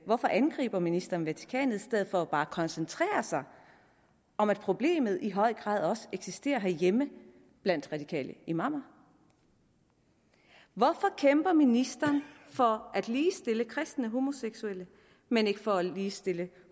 hvorfor angriber ministeren vatikanet i stedet for bare at koncentrere sig om at problemet i høj grad også eksisterer herhjemme blandt radikale imamer hvorfor kæmper ministeren for at ligestille kristne homoseksuelle men ikke for at ligestille